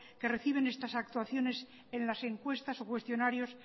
que reciben estas actuaciones en las encuestas o cuestionarios